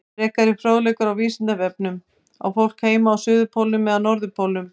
Frekari fróðleikur á Vísindavefnum Á fólk heima á suðurpólnum eða norðurpólnum?